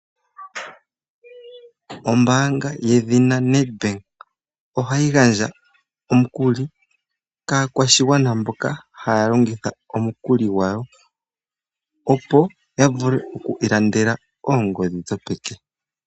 Oombanga ye dhina Nedbank, ohayi gandja omu kuli kaa kwashi gwana mboka haya longitha omu kuli gwawo, opo ya vule oku ilandela oongodhi dho peke.